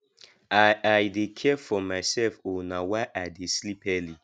i i dey care for mysef o na why i dey sleep early